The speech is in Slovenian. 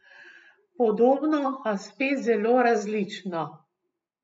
Podobno, a spet zelo različno.